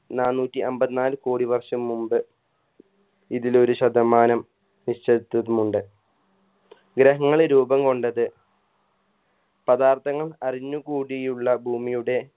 നാനൂറ്റി അമ്പത് നാല് കോടി വർഷം മുമ്പ് ഇതിലൊരു ശതമാനം വിശ്വസ്തതമുണ്ട് ഗ്രഹങ്ങള് രൂപം കൊണ്ടത് പദാർത്ഥങ്ങൾ അഴിഞ്ഞു കൂടിയുള്ള ഭൂമിയുടെ